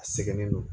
A sɛgɛnnen don